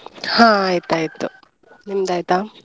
ಹಾ ಆಯ್ತಾಯ್ತು ನಿಮ್ಮದಾಯ್ತಾ?